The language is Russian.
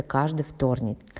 каждый вторник